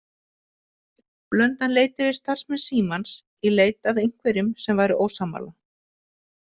Blöndal leit yfir starfsmenn Símans í leit að einhverjum sem væri ósammála.